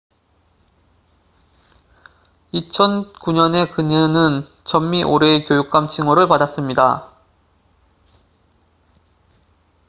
2009년에 그녀는 전미 올해의 교육감 칭호를 받았습니다